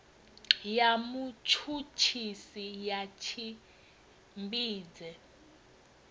ya mutshutshisi ya si tshimbidze